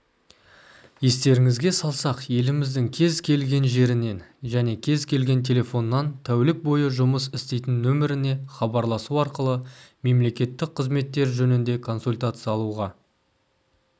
естеріңізге салсақ еліміздің кез келген жерінен және кез-келген телефоннан тәулік бойы жұмыс істейтін нөміріне хабарласу арқылы мемлекеттік қызметтер жөнінде консультация алуға